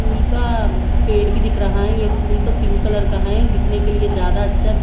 फूल का पेड़ भी दिख रहा है ये फूल तो पिंक कलर का है दिखने के लिए ज्यादा अच्छा--